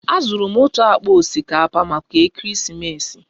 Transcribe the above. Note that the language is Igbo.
Azụrụ m otu akpa osikapa maka Ekeresimesi